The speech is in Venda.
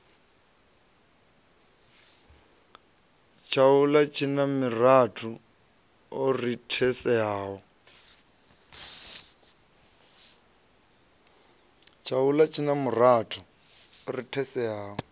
tshaula tshina miratho i rathiselaho